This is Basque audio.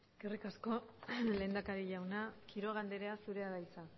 eskerrik asko lehendakari jauna quiroga andrea zurea da hitza